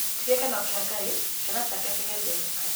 Ti gĩkeno kia Ngai ciana ciake cigĩthĩnĩka